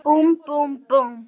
Búmm, búmm, búmm.